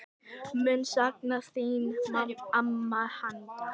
Mun sakna þín amma Hadda.